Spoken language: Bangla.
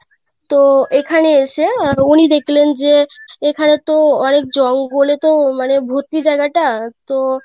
তো এখানে এসে উনি দেখলেন যে এখানে তো অনেক জঙ্গলে তো মানে ভর্তি যায়গা টা তো